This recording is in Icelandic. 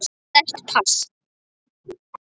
Sterkt pass.